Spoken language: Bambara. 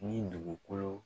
Ni dugukolo